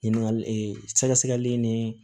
Ɲininkali ee sɛgɛsɛgɛli ni